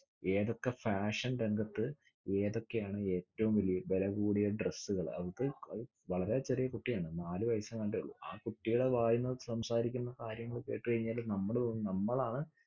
ഏതൊക്കെ fashion രംഗത്ത് ഏതൊക്കെയാണ് ഏറ്റോം വെവെലകൂടിയ dress സ്സുകള് അവൾക്ക് വളരെ ചെറിയ കുട്ടിയാണ്. നാലുവയസ്സെങ്ങാടെയുള്ളൂ. ആ കുട്ടീടെ വായിൽനിന്നു സംസാരിക്കുന്ന കാര്യങ്ങൾ കെട്ടുകഴിഞ്ഞാല് നമ്മള് തോന്നും നമ്മളാണ്